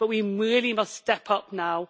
But we really must step up now.